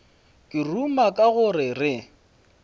ke ruma ka go re